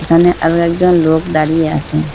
এখানে আরো একজন লোক দাঁড়িয়ে আসে ।